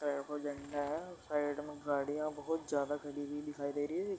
ये देखो झंडा है। साइड में गाड़ियाँ बहोत ज्यादा खड़ी हुई दिखाई दे रही हैं।